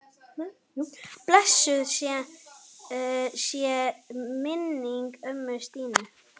Blessuð sé minning ömmu Stínu.